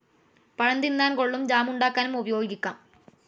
പഴം തിന്നാൻ കൊള്ളും ജാമുണ്ടാക്കാനും ഉപയോഗിക്കാം.